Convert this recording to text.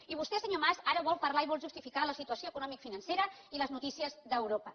i vostè senyor mas ara vol parlar i vol justificar la situació economicofinancera i les notícies d’europa